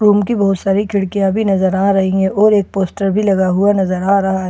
Room की बहुत सारी खिड़कियां भी नजर आ रही है और एक पोस्टर भी लगा हुआ नजर आ रहा है।